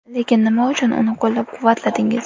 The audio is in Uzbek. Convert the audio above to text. Lekin nima uchun uni qo‘llab-quvvatladingiz?